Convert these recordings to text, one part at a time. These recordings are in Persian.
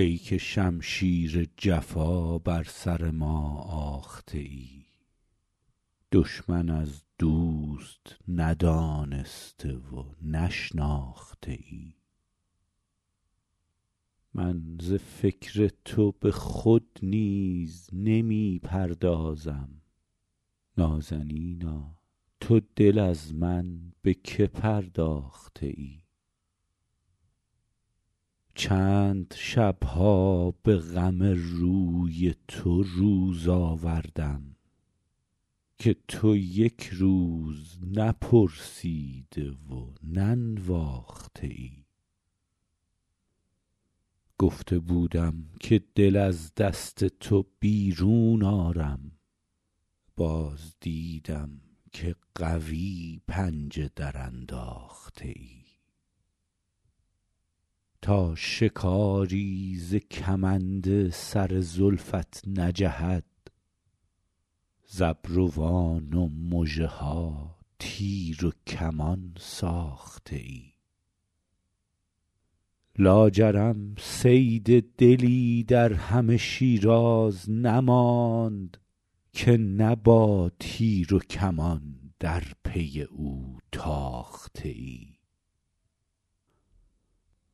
ای که شمشیر جفا بر سر ما آخته ای دشمن از دوست ندانسته و نشناخته ای من ز فکر تو به خود نیز نمی پردازم نازنینا تو دل از من به که پرداخته ای چند شب ها به غم روی تو روز آوردم که تو یک روز نپرسیده و ننواخته ای گفته بودم که دل از دست تو بیرون آرم باز دیدم که قوی پنجه درانداخته ای تا شکاری ز کمند سر زلفت نجهد ز ابروان و مژه ها تیر و کمان ساخته ای لاجرم صید دلی در همه شیراز نماند که نه با تیر و کمان در پی او تاخته ای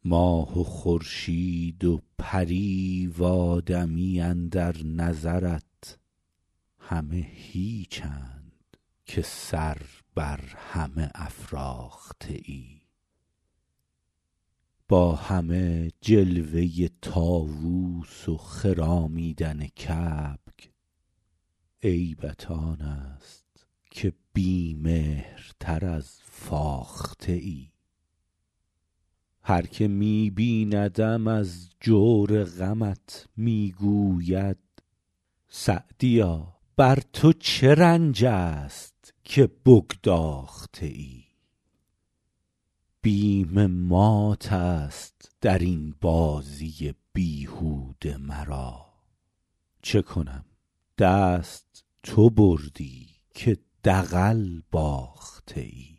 ماه و خورشید و پری و آدمی اندر نظرت همه هیچند که سر بر همه افراخته ای با همه جلوه طاووس و خرامیدن کبک عیبت آن است که بی مهرتر از فاخته ای هر که می بیندم از جور غمت می گوید سعدیا بر تو چه رنج است که بگداخته ای بیم مات است در این بازی بیهوده مرا چه کنم دست تو بردی که دغل باخته ای